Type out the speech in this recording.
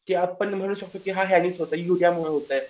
की आपण म्हणून शकतो की हे मुळं होतंय उरियामुळंमुळं होतंय.